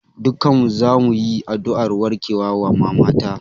Dukkan mu zamu yi addu'ar warkewa wa maman ta